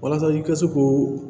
Walasa i ka se ko